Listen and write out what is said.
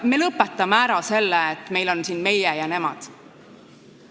Me lõpetame ära selle, et meil on siin "meie" ja "nemad".